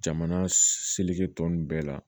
Jamana seleke tɔ ninnu bɛɛ la